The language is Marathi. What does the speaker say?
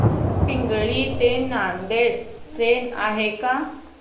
पिंगळी ते नांदेड ट्रेन आहे का